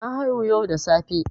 Na haihu yau da safe.